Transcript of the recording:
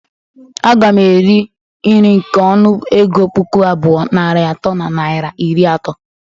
Aga m eri nri nke ọnụ ego puku abụọ, narị atọ na naira iri ato.